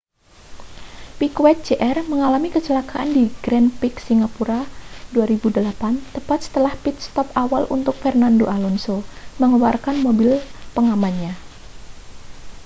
piquet jr mengalami kecelakaan di grand prix singapura 2008 tepat setelah pit stop awal untuk fernando alonso mengeluarkan mobil pengamannya